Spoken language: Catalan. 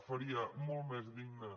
faria molt més digne